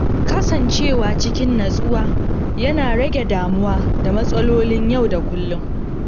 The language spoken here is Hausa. Kasancewa cikin natsuwa yana rage damuwa da matsalolin yau da kullum.